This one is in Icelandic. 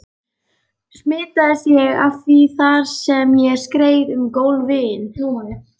Smitaðist ég af því þar sem ég skreið um gólfin?